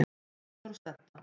Steingrímur og Sledda,